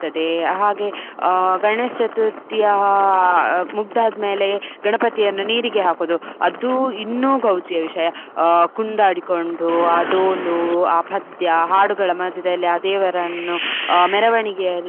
ಇರ್ತದೆ ಹಾಗೆ ಆ ಗಣೇಶ್ ಚತುರ್ಥಿಯ ಆ ಮುಗ್ಗದು ಆದ್ಮೇಲೆ ಗಣಪತಿಯನ್ನು ನೀರಿಗೆ ಹಾಕುದು ಅದು ಇನ್ನೂ ಗೌಜಿಯ ವಿಷಯ. ಆ ಕುಣಿದಾಡಿಕೊಂಡು, ಆ ಡೋಲು, ಆ ಪದ್ಯ, ಹಾಡುಗಳ ಮಧ್ಯದಲ್ಲಿ ಆ ದೇವರನ್ನು ಆ ಮೆರವಣಿಗೆಯ.